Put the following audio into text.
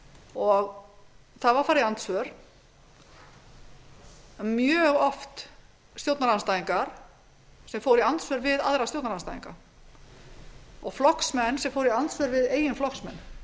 og síðan var farið í andsvör það voru mjög oft stjórnarandstæðingar sem fóru í andsvör við aðra stjórnarandstæðinga og flokksmenn sem fóru í andsvör við samflokksmenn það